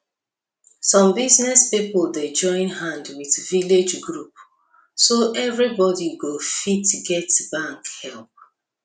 small business people dey join hand with village group so everybody go fit get bank help